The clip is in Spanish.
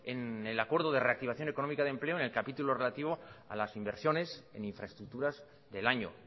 en el acuerdo de reactivación económica de empleo en el capítulo relativo a las inversiones en infraestructuras del año